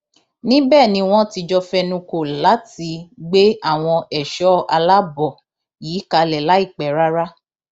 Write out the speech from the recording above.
níbẹ ni wọn ti jọ fẹnukọ láti gbé àwọn ẹṣọ aláàbọ yìí kalẹ láìpẹ rárá